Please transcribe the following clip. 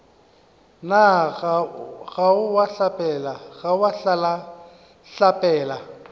na ga o a hlapela